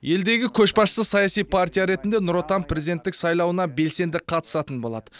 елдегі көшбасшы саяси партия ретінде нұр отан президенттік сайлауына белсенді қатысатын болады